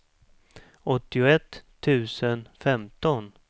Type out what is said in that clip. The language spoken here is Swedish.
åttioett tusen femton